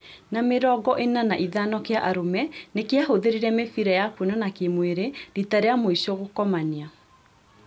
Na mĩrongo ĩna na ithano kĩa arũme nĩkĩahũthĩrire mĩbĩra ya kuonana kĩ-mwĩrĩ rita rĩa mũico gũkomania